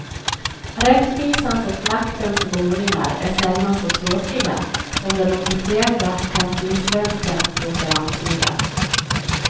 Rättvisans och maktens boningar är sällan så tråkiga, som den officiella kanslisvenskan låter antyda.